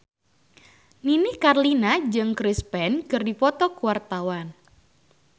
Nini Carlina jeung Chris Pane keur dipoto ku wartawan